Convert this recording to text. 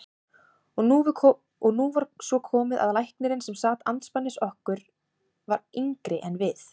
Og nú var svo komið að læknirinn sem sat andspænis okkur var yngri en við.